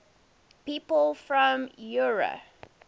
people from eure